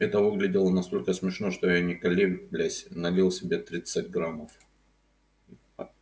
это выглядело настолько смешно что я не колеблясь налил себе тридцать граммов